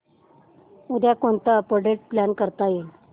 उद्या कोणतं update plan करता येईल